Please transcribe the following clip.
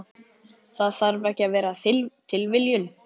Það þarf ekki að vera tilviljun.